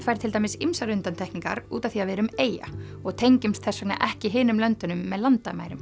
fær til dæmis ýmsar undantekningar út af því að við erum eyja og tengjumst þess vegna ekki hinum löndunum með landamærum